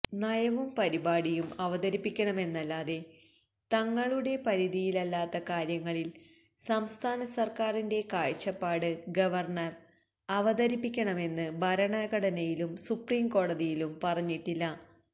നയവും പരിപാടിയും അവതരിപ്പിക്കണമെന്നല്ലാതെ തങ്ങളുടെ പരിധിയിലല്ലാത്ത കാര്യങ്ങളില് സംസ്ഥാനസര്ക്കാരിന്റെ കാഴ്ചപ്പാട് ഗവര്ണര് അവതരിപ്പിക്കണമെന്ന് ഭരണഘടനയും സുപ്രംകോടതിയും പറഞ്ഞിട്ടില്ല